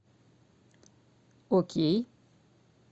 окей